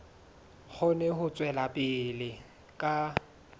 kgone ho tswela pele ka